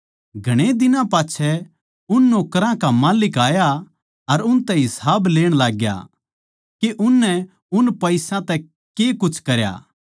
घणे दिनां पाच्छै उन नौकरां का माल्लिक आया अर उनतै हिसाब लेण लाग्या के उननै उन पईसा तै के कुछ करया